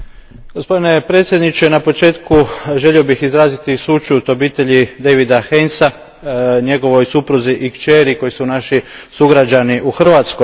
Gospodine predsjedniče, na početku želio bih izraziti sućut obitelji Davida Hainesa, njegovoj supruzi i kćeri koji su naši sugrađani u Hrvatskoj.